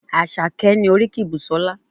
Àṣàkẹ́ ni oríkì Busola.